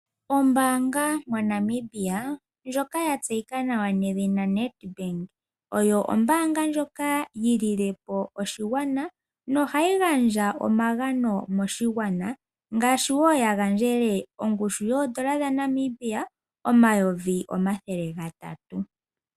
Ombaanga moNamibia ndjoka ya tseyika nawa nedhina NedBank oyo ombaanga ndjoka yi lilepo oshigwana nohayi gandja omagano moshigwana ngaashi wo ya gandjele ongushu yoodola dhaNamibia omayovi omathele gatatu.